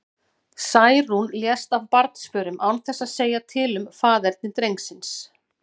Særún lést af barnsförum, án þess að segja til um faðerni drengsins.